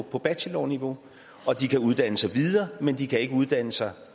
på bachelorniveau og de kan uddanne sig videre men de kan ikke uddanne sig